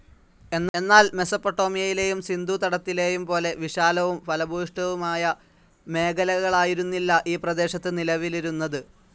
എന്നാൽ മെസോപ്പൊട്ടാമിയയിലെയും സിന്ധൂതടത്തിലെയും പോലെ വിശാലവും ഫലഭൂയിഷ്ടവുമായ മേഖലകാലായിരുന്നില്ല ഈ പ്രദേശത് നിലവിലിരുന്നതു.